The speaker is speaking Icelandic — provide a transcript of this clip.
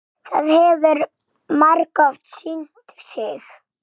Það hefur margoft sýnt sig.